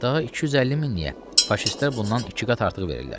Daha 250 min niyə, faşistlər bundan iki qat artıq verirlər.